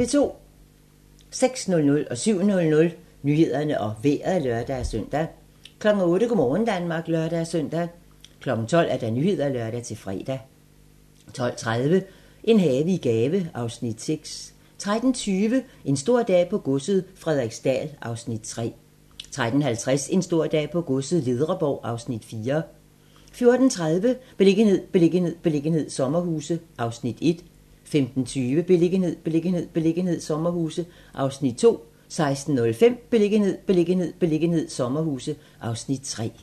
06:00: Nyhederne og Vejret (lør-søn) 07:00: Nyhederne og Vejret (lør-søn) 08:00: Go' morgen Danmark (lør-søn) 12:00: Nyhederne (lør-fre) 12:30: En have i gave (Afs. 6) 13:20: En stor dag på godset - Frederiksdal (Afs. 3) 13:50: En stor dag på godset - Ledreborg (Afs. 4) 14:30: Beliggenhed, beliggenhed, beliggenhed - sommerhuse (Afs. 1) 15:20: Beliggenhed, beliggenhed, beliggenhed - sommerhuse (Afs. 2) 16:05: Beliggenhed, beliggenhed, beliggenhed - sommerhuse (Afs. 3)